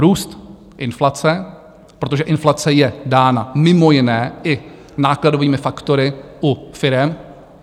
Růst inflace, protože inflace je dána mimo jiné i nákladovými faktory u firem.